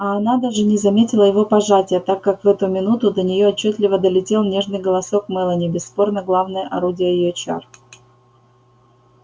а она даже не заметила его пожатия так как в эту минуту до неё отчётливо долетел нежный голосок мелани бесспорно главное орудие её чар